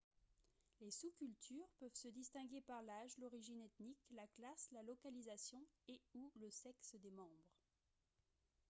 les sous-cultures peuvent se distinguer par l'âge l'origine ethnique la classe la localisation et / ou le sexe des membres